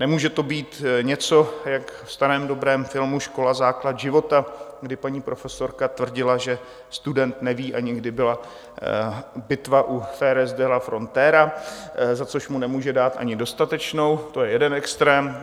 Nemůže to být něco jak ve starém dobrém filmu Škola základ života, kdy paní profesorka tvrdila, že student neví, ani kdy byla bitva u Jerez de la Frontera, za což mu nemůže dát ani dostatečnou - to je jeden extrém.